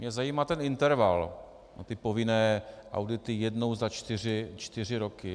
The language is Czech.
Mě zajímá ten interval a povinné audity jednou za čtyři roky.